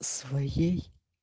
своей